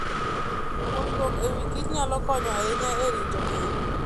Puonjruok e wi kich nyalo konyo ahinya e rito ngima.